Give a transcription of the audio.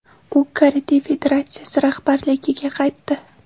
U Karate federatsiyasi rahbarligiga qaytdi.